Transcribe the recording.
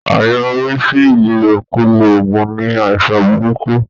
Àyọrísí Ìlòkulò oògùn ni àìsàn burúkú